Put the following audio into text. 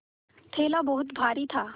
थैला बहुत भारी था